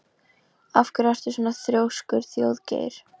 Af hverju ertu svona þrjóskur, Þjóðgeir?